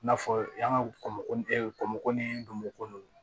I n'a fɔ yan ka kɔmɔ ɛ kɔmɔkili golo